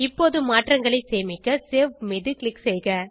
இப்போது மாற்றங்களை சேமிக்க சேவ் மீது க்ளிக் செய்க